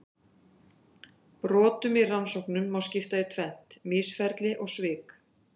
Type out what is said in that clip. Brotum í rannsóknum má skipta í tvennt: misferli og svik.